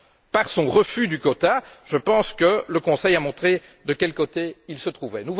Par son refus du quota, je pense que le Conseil a montré de quel côté il se trouvait.